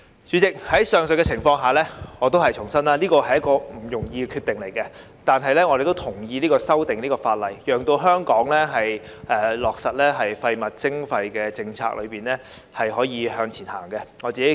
主席，在上述情況下，我重申這是不容易的決定，但我們同意修訂這項法例，讓香港在落實廢物徵費政策上可以向前走。